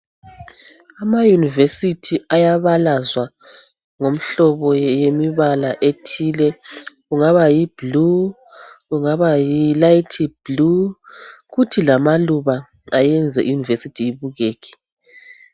Ama University ayabalazwa ngomhlobo yemibala ethile. Ungaba yi blue , ungaba yi light blue, kuthi lamaluba ayenze I University ibukeke.